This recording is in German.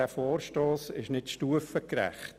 Dieser Vorstoss ist nicht stufengerecht.